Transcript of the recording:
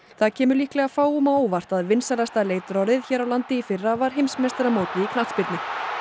það kemur líklega fáum á óvart að vinsælasta leitarorðið hér á landi í fyrra var heimsmeistaramótið í knattspyrnu